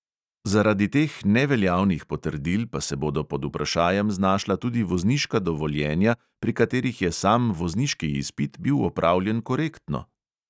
Zaradi teh neveljavnih potrdil pa se bodo pod vprašajem znašla tudi vozniška dovoljenja, pri katerih je sam vozniški izpit bil opravljen korektno.